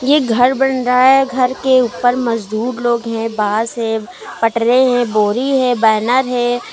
ये घर बन रहा है घर के ऊपर मजदूर लोग हैं बांस है पटरे हैं बोरी है बैनर है।